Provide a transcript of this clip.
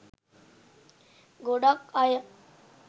ගොඩක් අය